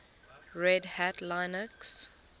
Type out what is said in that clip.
red hat linux